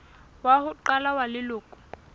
wa ho qala wa leloko